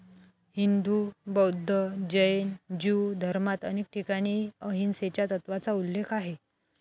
हिंदू, बौद्ध, जैन, ज्यू धर्मात अनेक ठिकाणी अहिंसेच्या तत्त्वाचा उल्लेख आहे.